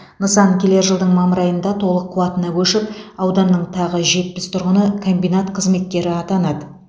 нысан келер жылдың мамыр айында толық қуатына көшіп ауданның тағы жетпіс тұрғыны комбинат қызметкері атанады